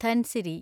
Dhansiri